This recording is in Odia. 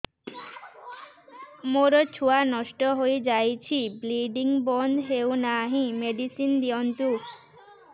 ମୋର ଛୁଆ ନଷ୍ଟ ହୋଇଯାଇଛି ବ୍ଲିଡ଼ିଙ୍ଗ ବନ୍ଦ ହଉନାହିଁ ମେଡିସିନ ଦିଅନ୍ତୁ